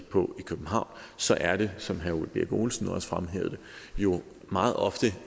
på i københavn så er det som herre ole birk olesen også fremhævede det jo meget ofte